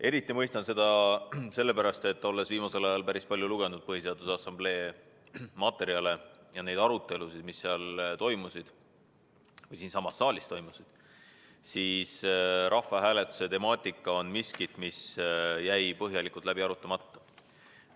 Eriti mõistan seda sellepärast, et olen viimasel ajal päris palju lugenud Põhiseaduse Assamblee materjale ja neid arutelusid, mis seal toimusid – siinsamas saalis toimusid –, ning rahvahääletuse temaatika on midagi, mis jäi põhjalikult läbi arutamata.